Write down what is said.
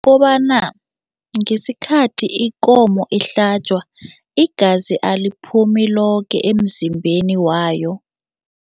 Kobana ngesikhathi ikomo ihlatjwa, igazi aliphumi loke emzimbeni wayo.